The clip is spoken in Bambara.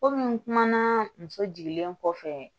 Komi n kumana muso jiginlen kɔfɛ